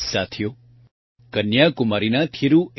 સાથીઓ કન્યાકુમારીના થિરૂ એ